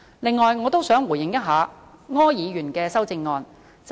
此外，我亦想回應一下柯議員的修正案。